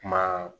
Kuma